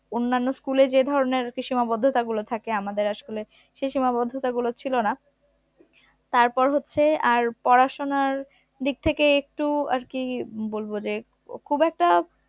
অন্যান্য school এ যে ধরনের সীমাবদ্ধতা গুলো থাকে আমি, আমাদের school এ সেই সীমাবদ্ধতাগুলো ছিল না তারপর হচ্ছে আর পড়াশোনার দিক থেকে একটু আরকি উম বলবো যে খুব একটা